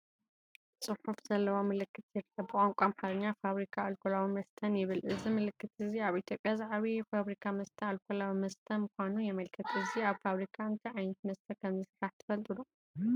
ጽሑፍ ዘለዎ ምልክት ይርአ። ብቋንቋ ኣምሓርኛ “ፋብሪካ ኣልኮላዊ መስተን” ይብል፣ እዚ ምልክት’ዚ ኣብ ኢትዮጵያ ዝዓበየ ፋብሪካ መስተን ኣልኮላዊ መስተ ምዃኑን የመልክት። እዚ ኣብ ፋብሪካ እንታይ ዓይነት መስተ ከም ዝስራሕ ትፈልጡ ዶ?